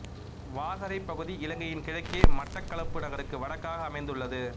வாகரைப் பகுதி இலங்கையின் கிழக்கே மட்டக்களப்பு நகருக்கு வடக்காக அமைந்துள்ளது